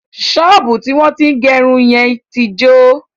Ṣọ́ọ̀bú tí wọ́n tín gẹrun yẹn tí jọ.